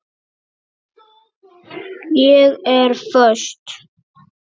Ég er föst.